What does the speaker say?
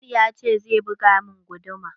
Abdul ya ce zai buga min guduma.